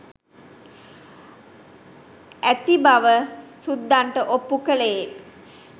ඇති බව සුද්දන්ට ඔප්පු කළේ